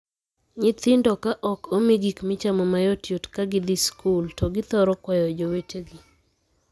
Nyithindo ka ok omii gik michamo mayotyot ka gidhii skul to githoro kwayo jowetegi.